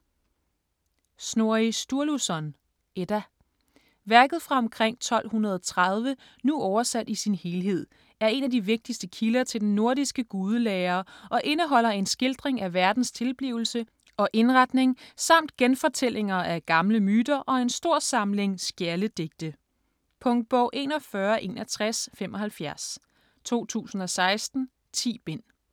Snorri Sturluson: Edda Værket fra omkring 1230, nu oversat i sin helhed, er en af de vigtigste kilder til den nordiske gudelære og indeholder en skildring af verdens tilblivelse og indretning samt genfortællinger af gamle myter og en stor samling skjaldedigte. Punktbog 416175 2016. 10 bind.